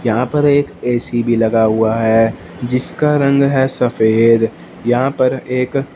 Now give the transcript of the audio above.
यहां पर एक ए_सी भी लगा हुआ है जिसका रंग है सफेद यहां पर एक--